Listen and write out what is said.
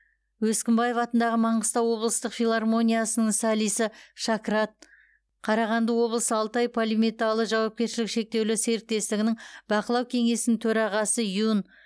өскінбаев атындағы маңғыстау облыстық филармониясының солисі шакрат қарағанды облысы алтай полиметалы жауапкершілігі шектеулі серіктестігінің бақылау кеңесінің төрағасы юн